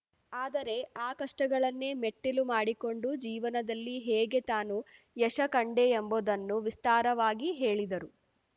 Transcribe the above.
ಆದರೆ ಆ ಕಷ್ಟಗಳನ್ನೇ ಮೆಟ್ಟಿಲು ಮಾಡಿಕೊಂಡು ಜೀವನದಲ್ಲಿ ಹೇಗೆ ತಾನು ಯಶ ಕಂಡೆ ಎಂಬುದನ್ನು ವಿಸ್ತಾರವಾಗಿ ಹೇಳಿದರು